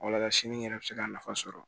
Walasa sini yɛrɛ bɛ se ka nafa sɔrɔ